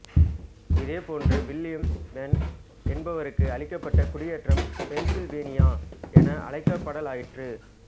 இதேபோன்று William Penn என்பாருக்கு அளிக்கப்பட்ட குடியேற்றம் பென்சில்வேனியா என அழைக்கப்படலாயிற்று